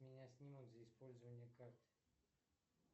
меня снимут за использование карты